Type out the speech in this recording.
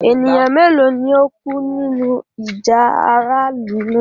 Ẹ̀nìyàn méloo ni o kú nínu ìjà aráàlù náà?